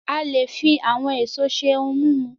A le fi àwọn èso ṣe ohun mímu